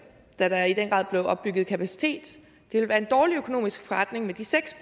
da der i den grad blev opbygget kapacitet være en dårlig økonomisk forretning med de seks